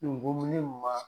Nin ko ma.